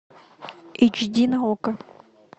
эйч ди на окко